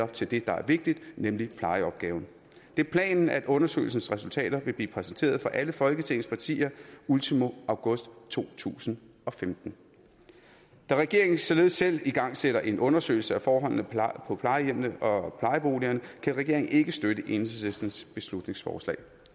til det der er vigtigt nemlig plejeopgaven det er planen at undersøgelsens resultater vil blive præsenteret for alle folketingets partier ultimo august to tusind og femten da regeringen således selv igangsætter en undersøgelse af forholdene på plejehjemmene og plejeboligerne kan regeringen ikke støtte enhedslistens beslutningsforslag